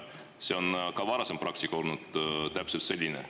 Ka varasem praktika on olnud täpselt selline.